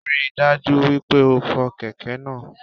Ríi dájú wípé o fo kèké náá